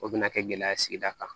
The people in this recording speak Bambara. O bɛna kɛ gɛlɛya ye sigida kan